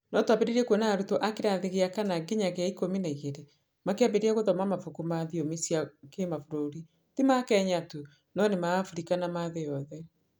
No twambĩrĩrie kuona arutwo a kĩrathi gĩa kana nginya gĩa ikũmi na igĩrĩ makĩambĩrĩria gũthoma mabuku ma thiomi cia kĩmabũrũri ti ma Kenya tu, no nĩ ma Abirika na ma thĩ yothe.